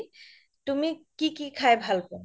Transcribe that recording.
তুমি কি কি খাই ভাল পোৱা